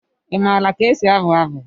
Ị maara ka esi abụ abụ?